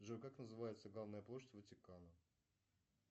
джой как называется главная площадь ватикана